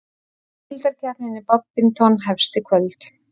Deildakeppnin í badminton hefst í kvöld